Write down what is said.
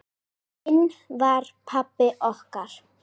Hinn var pabbi okkar.